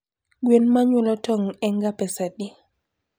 Gwen manyuolo tong enga pesadi?